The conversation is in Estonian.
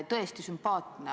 Tõesti sümpaatne.